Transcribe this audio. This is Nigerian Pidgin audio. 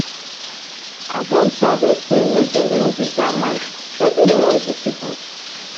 i don tell dem say make dem dey reduce that mic wetin dey worry dis people?